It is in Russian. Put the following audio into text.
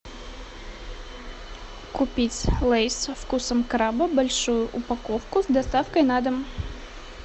купить лейс со вкусом краба большую упаковку с доставкой на дом